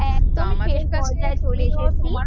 একদমই শেষ আমাদের কাছে পর্যায়ে চলে এসেছি,